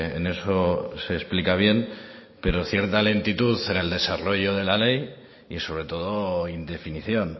en eso se explica bien pero cierta lentitud en el desarrollo de la ley y sobre todo indefinición